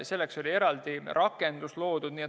Selleks oli loodud eraldi rakendus.